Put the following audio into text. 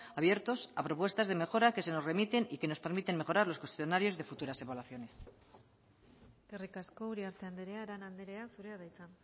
abiertos a propuestas de mejora que se nos remiten y que nos permiten mejorar los cuestionarios de futuras evaluaciones eskerrik asko uriarte andrea arana andrea zurea da hitza